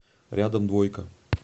рядом двойка